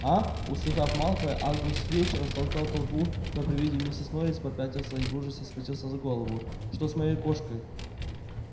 аа услыхав малфоя аргус филч растолкал толпу но при виде миссис норрис попятился и в ужасе схватился за голову что с моей кошкой